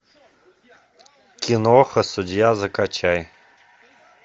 киноха судья закачай